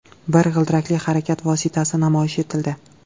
Bir g‘ildirakli harakat vositasi namoyish etildi.